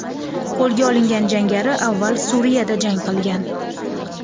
Qo‘lga olingan jangari avval Suriyada jang qilgan.